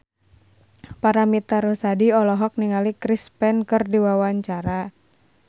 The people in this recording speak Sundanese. Paramitha Rusady olohok ningali Chris Pane keur diwawancara